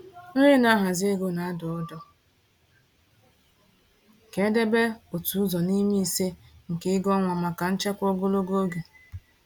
Onye na-ahazi ego na-adụ ọdụ ka e debe otu ụzọ n’ime ise nke ego ọnwa maka nchekwa ogologo oge.